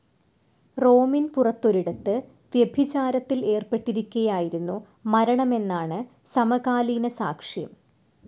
റോമിൻ പുറത്തൊരിടത്തു വ്യഭിചാരത്തിൽ ഏർപ്പെട്ടിരിക്കെയായിരുന്നു മരണമെന്നാണ് സമകാലീനസാക്ഷ്യം.